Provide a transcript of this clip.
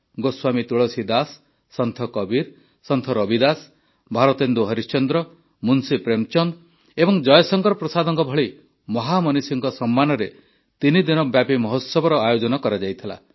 ଗୋସ୍ୱାମୀ ତୁଳସୀଦାସ୍ ସନ୍ଥ କବୀର ସନ୍ଥ ରବିଦାସ୍ ଭାରତେନ୍ଦୁ ହରିଶ୍ଚନ୍ଦ୍ର ମୁନ୍ସୀ ପ୍ରେମଚନ୍ଦ ଏବଂ ଜୟଶଙ୍କର ପ୍ରସାଦଙ୍କ ଭଳି ମହାମନିଷୀଙ୍କ ସମ୍ମାନରେ ତିନିଦିନବ୍ୟାପୀ ମହୋତ୍ସବର ଆୟୋଜନ କରାଯାଇଥିଲା